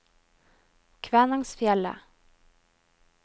Kvænangsfjellet